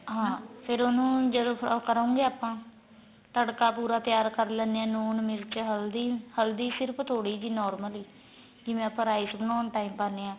ਹਾਂ ਫੇਰ ਉਨੂੰ ਜਦੋ ਓ ਕਰੋ ਗੇ ਆਪਾਂ ਤੜਕਾ ਪੂਰਾ ਤਿਆਰ ਕਰ ਲੈਣੇ ਆ ਲੂਣ ਮਿਰਚ ਹਲਦੀ ਹਲਦੀ ਸਿਰਫ ਥੋੜੀ ਜੀ normal ਈ ਜਿਵੇਂ ਆਪਾਂ rice ਬਣਾਉਣ time ਪਾਉਣੇ ਆ